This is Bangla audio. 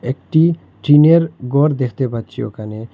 একটি টিনের গর দেখতে পাচ্ছি ওখানে।